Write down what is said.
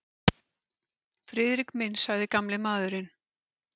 Friðrik minn sagði gamli maðurinn.